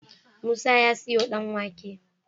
Musa ya siyo dan wake